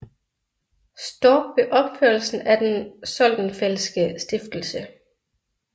Storck ved opførelsen af Den Soldenfeldtske Stiftelse